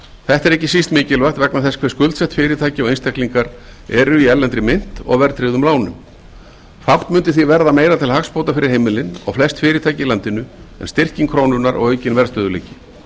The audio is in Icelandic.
þetta er ekki síst mikilvægt vegna þess hversu skuldsett fyrirtæki og einstaklingar eru í erlendri mynt og verðtryggðum lánum fátt mundi því verða meira til hagsbóta fyrir heimilin og flest fyrirtæki í landinu en styrking krónunnar og aukinn verðstöðugleiki